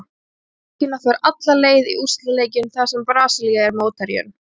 Argentína fer alla leið í úrslitaleikinn þar sem Brasilía er mótherjinn.